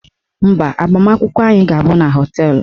Mba, agbamakwụkwọ anyị ga-abụ na họteelụ